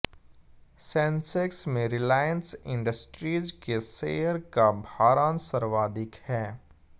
Sensex में Reliance Industries के share का भारांश सर्वाधिक है